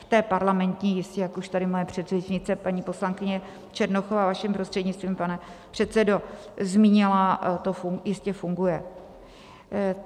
V té parlamentní jistě, jak už tady moje předřečnice paní poslankyně Černochová vaším prostřednictvím, pane předsedo, zmínila, to jistě funguje.